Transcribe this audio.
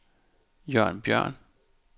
Jørn Bjørn